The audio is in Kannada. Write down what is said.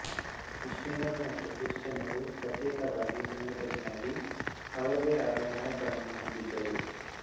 ಮುಸ್ಲಿಮ್ ರು ಮತ್ತು ಕ್ರಿಶ್ಚಿಯನ್ ರು ಪ್ರತ್ಯೇಕವಾಗಿ ಸಂಘಟನೆಯಾಗಿ ಅವರದೇ ಆದ ನಾಯಕರನ್ನು ಹೊಂದಿದರು